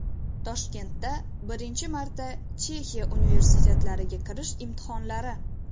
Toshkentda birinchi marotaba Chexiya universitetlariga kirish imtihonlari.